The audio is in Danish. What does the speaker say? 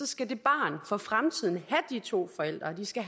skal det barn for fremtiden have de to forældre og de skal